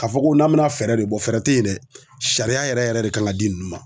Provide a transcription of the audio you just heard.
K'a fɔ ko n'a bɛna fɛɛrɛ de bɔ, fɛɛrɛ tɛ yen dɛ , sariya yɛrɛ yɛrɛ de kan ka di ninnu ma.